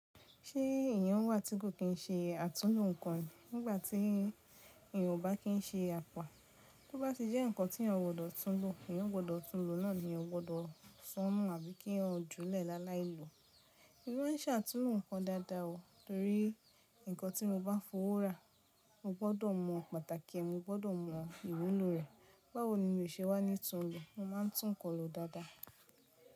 Ṣé èyan wà tí kò kín ṣe àtúnlo nǹkan nígbàtí èyí ò bá kín ṣe àpá. Tó bá ti jẹ́ ǹkan tí ọleyan gbọdọ̀ túnlo, èyan gbọdọ̀ túnlo náà ni eyan o gbọdọ sọ́onu àbí kí eyan júlẹ̀ láláìlọ́. Èmi máa n sàtúnlo ǹkan dáadáa o, torí ǹkan tí mo bá fọwọ́ rà, mo gbọdọ̀ mọ pàtàkì ẹ̀, mo gbọdọ̀ mọ ìwúlò rẹ̀. Báwo ni mo ṣe wá ní túnlo. Mo máa n tún ǹkan lo dáadáa.